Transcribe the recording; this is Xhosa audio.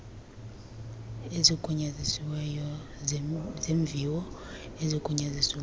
ezigunyazisiweyo zeemviwo ezigunyazisiweyo